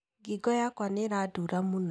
Ngingo yakwa nĩranduura mũno